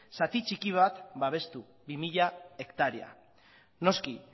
zati txiki bat babestu bi mila hektarea noski